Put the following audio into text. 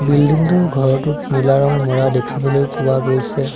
Building টোৰ ঘৰটোত নীলা ৰং মৰা দেখিবলৈ পোৱা গৈছে।